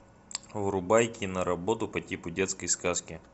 врубай киноработу по типу детской сказки